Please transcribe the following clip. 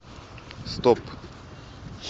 стоп